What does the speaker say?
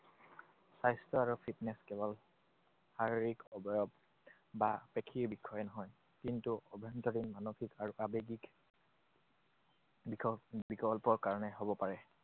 স্বাস্থ্য আৰু fitness কেৱল শাৰীৰিক অৱয়ব বা পেশীৰ বিষয়ে নহয়। কিন্তু আভ্যন্তৰীণ মানসিক আৰু আৱেগিক বিক~ বিকল্পৰ কাৰণে হব পাৰে।